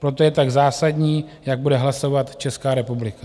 Proto je tak zásadní, jak bude hlasovat Česká republika.